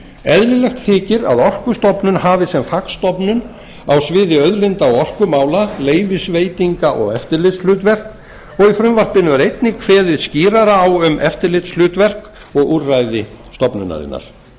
eðlilegt þykir að orkustofnun hafi sem fagstofnun á sviði auðlinda og orkumála leyfisveitinga og eftirlitshlutverk og í frumvarpinu er einnig kveðið skýrar á um eftirlitshlutverk og úrræði stofnunarinnar